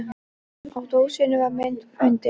Á dósinni var mynd af hundi.